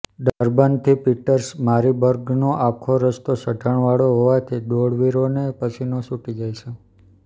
ડર્બનથી પીટર્સ મારિબર્ગનો આખો રસ્તો ચઢાણવાળો હોવાથી દોડવીરોને પસીનો છૂટી જાય છે